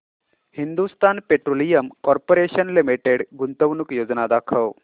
Hindustan Petroleum Corporation Limited गुंतवणूक योजना दाखव